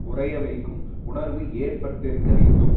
உறைய வைக்கும் உணர்வு ஏற்பட்டுருக்க வேண்டும்